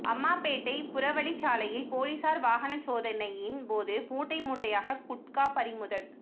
அம்மாபேட்டை புறவழிச்சாலையில் போலீசார் வாகன சோதனையின்போது மூட்டை மூட்டையாக குட்கா பறிமுதல்